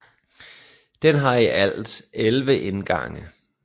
Den har i alt 11 indgange